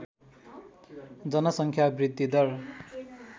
जनसङ्ख्या वृद्धिदर